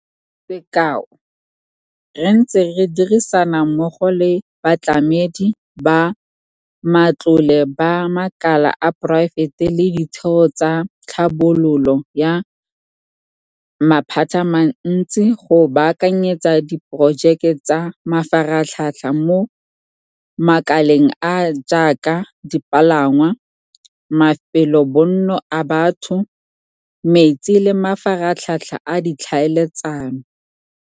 Sekao, re ntse re dirisana mmogo le batlamedi ba matlole ba makala a poraefete le ditheo tsa tlhabololo ya maphatamantsi go baakanyetsa diporojeke tsa mafaratlhatlha mo makaleng a a jaaka dipalangwa, mafelobonno a batho, metsi le mafaratlhatlha a ditlhaeletsano.